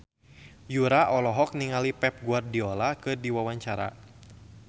Yura olohok ningali Pep Guardiola keur diwawancara